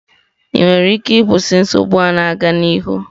Ị nwere ike ịkwụsị nsogbu a na-aga n'ihu?